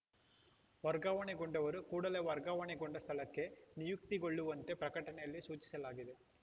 ವರ್ಗಾವಣೆಗೊಂಡವರು ಕೂಡಲೇ ವರ್ಗಾವಣೆಗೊಂಡ ಸ್ಥಳಕ್ಕೆ ನಿಯುಕ್ತಿಗೊಳ್ಳುವಂತೆ ಪ್ರಕಟಣೆಯಲ್ಲಿ ಸೂಚಿಸಲಾಗಿದೆ